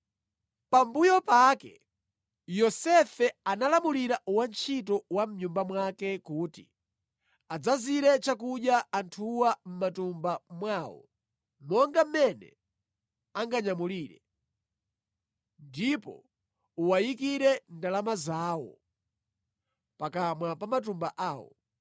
Pambuyo pake Yosefe analamulira wantchito wa mʼnyumba mwake kuti, “Adzazire chakudya anthuwa mʼmatumba mwawo monga mmene anganyamulire, ndipo uwayikire ndalama zawo pakamwa pa matumba awowo.